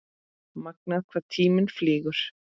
Magnað hvað tíminn flýgur?